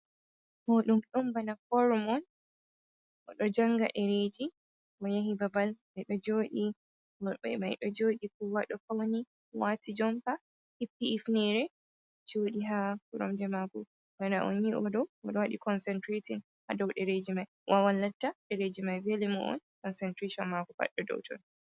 Moɗum, ɗum bana forum on goɗɗo janga ɗereji o yahi babal ɓeɗo joɗi, woɓɓe maiɗo joɗi kowa ɗo fauni wati jompa hifni hifnere joɗi ha koromje mako, bana on yiɗo waɗi konsentirashon ha dow ɗereji mai, wawan latta dereji mai vela mo on konsentrashon mako pat ɗo dow ton.